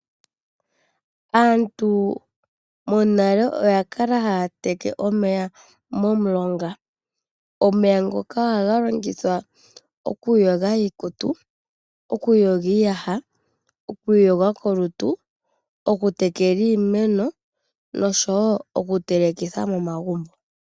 Aantu monale oya kala haya teke omeya momulonga. Omeya oha ga longithwa okuyoga iikutu, oku yoga iiyaha, oku iyoga kolutu, oku tekela iimeno nosho woo oku telekitha momagumbo.